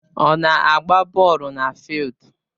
Ọ na-agba bọọlụ na fịịldu